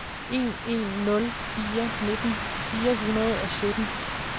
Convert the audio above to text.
en en nul fire nitten fire hundrede og sytten